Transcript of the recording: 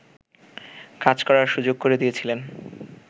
কাজ করার সুযোগ করে দিয়েছিলেন